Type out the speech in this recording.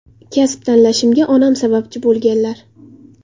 Kasb tanlashimga onam sababchi bo‘lganlar.